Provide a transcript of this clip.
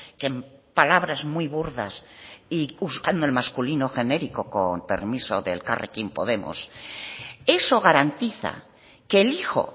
que palabras muy burdas y buscando el masculino genérico con permiso de elkarrekin podemos eso garantiza que el hijo